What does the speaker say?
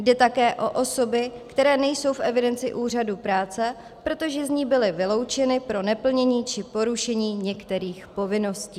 Jde také o osoby, které nejsou v evidenci úřadu práce, protože z ní byly vyloučeny pro neplnění či porušení některých povinností.